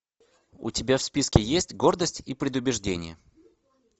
у тебя в списке есть гордость и предубеждение